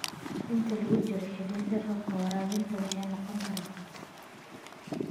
Inta lagu jiro xilli-roobaadka, waraabinta waxay noqon kartaa khatar.